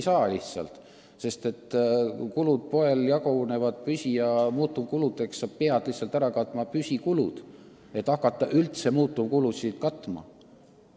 Nad ei tule toime, sest poe kulud jagunevad püsi- ja muutuvkuludeks ning sa pead vähemalt ära katma püsikulud, et hakata üldse muutuvkulusid katma.